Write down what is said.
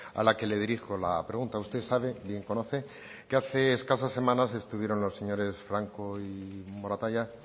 a la que le dirijo la pregunta usted sabe bien conoce que hace escasas semanas estuvieron los señores franco y moratalla